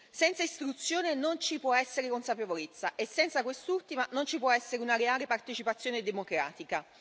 Senza istruzione non ci può essere consapevolezza e senza quest'ultima non ci può essere una reale partecipazione democratica.